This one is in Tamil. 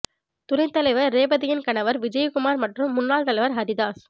துணைத் தலைவா் ரேவதியின் கணவா் விஜயகுமாா் மற்றும் முன்னாள் தலைவா் ஹரிதாஸ்